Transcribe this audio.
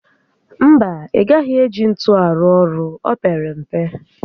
No, ị gaghị eji ntu arụ ọrụ, o pere mpe